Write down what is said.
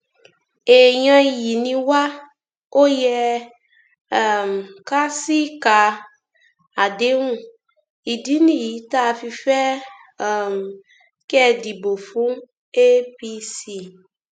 èèyàn iyì ni wá ó yẹ um ká ṣíìka àdéhùn ìdí nìyí tá a fi fẹ um kẹ ẹ dìbò fún apc